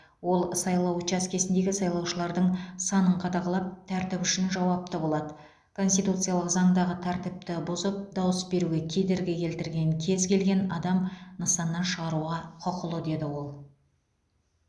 ол сайлау учаскесіндегі сайлаушылардың санын қадағалап тәртіп үшін жауапты болады конституциялық заңдағы тәртіпті бұзып дауыс беруге кедергі келтірген кез келген адам нысаннан шығаруға құқылы деді ол